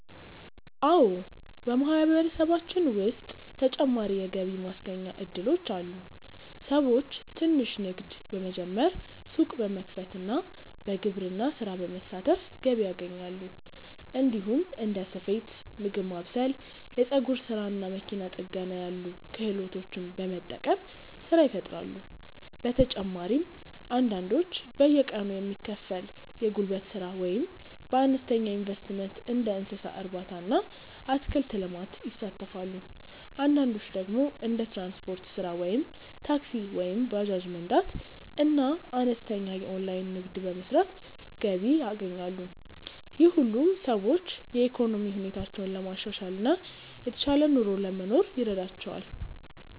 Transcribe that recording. አዎ፣ በማህበረሰባችን ውስጥ ተጨማሪ የገቢ ማስገኛ እድሎች አሉ። ሰዎች ትንሽ ንግድ በመጀመር፣ ሱቅ በመክፈት እና በግብርና ስራ በመሳተፍ ገቢ ያገኛሉ። እንዲሁም እንደ ስፌት፣ ምግብ ማብሰል፣ የፀጉር ስራ እና መኪና ጥገና ያሉ ክህሎቶችን በመጠቀም ስራ ይፈጥራሉ። በተጨማሪም አንዳንዶች በየቀኑ የሚከፈል የጉልበት ስራ ወይም በአነስተኛ ኢንቨስትመንት እንደ እንስሳ እርባታ እና አትክልት ልማት ይሳተፋሉ። አንዳንዶች ደግሞ እንደ ትራንስፖርት ስራ (ታክሲ ወይም ባጃጅ መንዳት) እና አነስተኛ የኦንላይን ንግድ በመስራት ገቢ ያገኛሉ። ይህ ሁሉ ሰዎች የኢኮኖሚ ሁኔታቸውን ለማሻሻል እና የተሻለ ኑሮ ለመኖር ይረዳቸዋል።